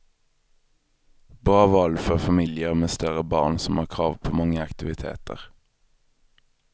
Bra val för familjer med större barn som har krav på många aktiviteter.